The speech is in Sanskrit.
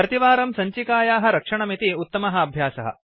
प्रतिवारं सञ्चिकायाः रक्षणमिति उत्तमः अभ्यासः